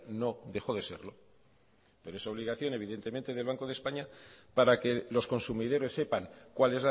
no dejó de serlo pero es obligación evidentemente del banco de españa para que los consumidores sepan cuál